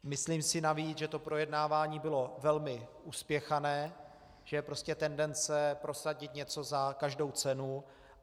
Myslím si navíc, že to projednávání bylo velmi uspěchané, že je prostě tendence prosadit něco za každou cenu.